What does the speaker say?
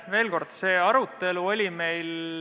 Veel kord, see arutelu sai meil peetud.